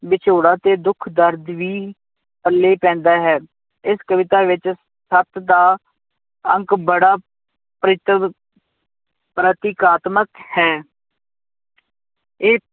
ਵਿਛੋੜਾ ਤੇ ਦੁਖ ਦਰਦ ਵੀ ਪੱਲੇ ਪੈਂਦਾ ਹੈ, ਇਸ ਕਵਿਤਾ ਵਿੱਚ ਸੱਤ ਦਾ ਅੰਕ ਬੜਾ ਪ੍ਰੀਤਵ ਪ੍ਰਤੀਕਾਤਮਕ ਹੈ ਇਹ